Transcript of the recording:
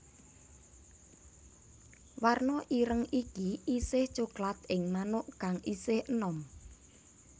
Warna ireng iki isih coklat ing manuk kang isih enom